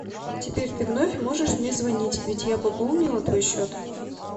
теперь ты вновь можешь мне звонить ведь я пополнила твой счет